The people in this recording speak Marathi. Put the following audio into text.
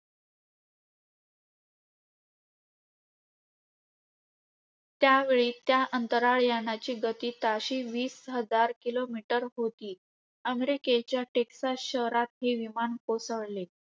त्यावेळी त्या अंतराळ यानाची गती ताशी वीस हजार kilometer होती. अमेरिकेच्या टेक्सास शहरात हे विमान कोसळले.